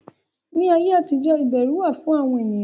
Ní ayé àtijọ́ Ìbẹrù wà fún àwọn ènìyàn